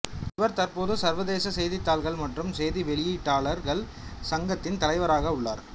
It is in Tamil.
இவர் தற்போது சர்வதேச செய்தித்தாள்கள் மற்றும் செய்தி வெளியீட்டாளர்கள் சங்கத்தின் தலைவராக உள்ளார்